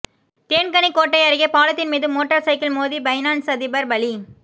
தேன்கனிக்கோட்டை அருகே பாலத்தின் மீது மோட்டார் சைக்கிள் மோதி பைனான்ஸ் அதிபர் பலி